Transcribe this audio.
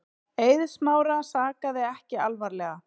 Eið Smára sakaði ekki alvarlega.